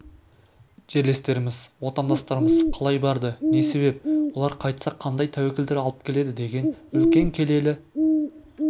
жерлестеріміз отандастарымыз қалай барды не себеп олар қайтса қандай тәуекелдер алып келеді деген үлкен келелі